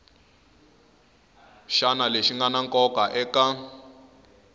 wana lexi ngana nkoka eka